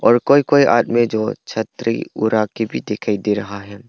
कोई कोई आदमी जो छतरी उरा के भी दिखाई दे रहा है।